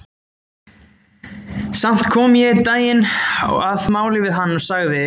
Samt kom ég einn daginn að máli við hann og sagði